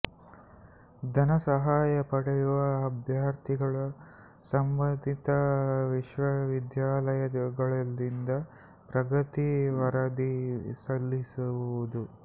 ಧನ ಸಹಾಯ ಪಡೆಯುವ ಅಭ್ಯರ್ಥಿಗಳು ಸಂಬಂಧಿತ ವಿಶ್ವವಿದ್ಯಾಲಯಗಳಿಂದ ಪ್ರಗತಿ ವರದಿ ಸಲ್ಲಿಸುವುದು